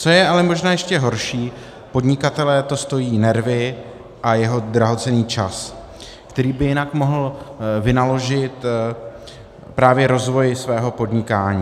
Co je ale možná ještě horší, podnikatele to stojí nervy a jeho drahocenný čas, který by jinak mohl vynaložit právě rozvoji svého podnikání.